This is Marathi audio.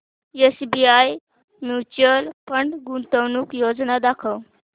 एसबीआय म्यूचुअल फंड गुंतवणूक योजना दाखव